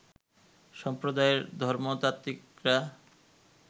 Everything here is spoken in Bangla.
সম্প্রদায়ের ধর্মতাত্ত্বিকরা